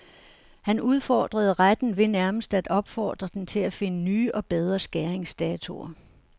Han udfordrede retten ved nærmest af opfordre den til at finde nye og bedre skæringsdatoer.